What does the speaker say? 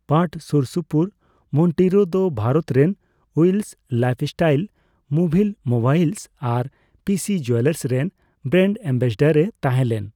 ᱯᱟᱴᱷ ᱥᱩᱨᱥᱩᱯᱩᱨ, ᱢᱚᱱᱴᱤᱨᱳ ᱫᱚ ᱵᱷᱟᱨᱚᱛ ᱨᱮᱱ ᱩᱭᱤᱞᱥ ᱞᱟᱭᱤᱯᱷᱥᱴᱟᱭᱤᱞ, ᱢᱩᱵᱷᱤᱞ ᱢᱳᱵᱟᱭᱤᱞᱥ ᱟᱨ ᱯᱤᱥᱤ ᱡᱩᱭᱮᱞᱟᱨᱥ ᱨᱮᱱ ᱵᱨᱮᱱᱰ ᱮᱢᱵᱟᱥᱮᱰᱚᱨ ᱮ ᱛᱟᱦᱮᱸᱞᱮᱱ ᱾